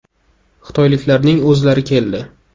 Xitoyliklarning o‘zlari keldi.